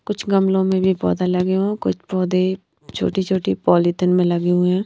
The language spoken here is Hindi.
कुछ गमलों में भी पौधा लगे हुए हैं कुछ पौधे छोटी-छोटी पॉलीथिन में लगे हुए हैं।